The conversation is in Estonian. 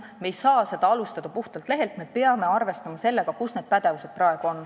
Me ei saa alustada puhtalt lehelt, me peame arvestama sellega, kus need pädevused praegu on.